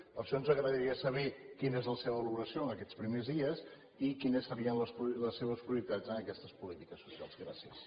per això ens agradaria saber quina és la seva valoració en aquests primers dies i quines serien les seves prioritats en aquestes polítiques socials gràcies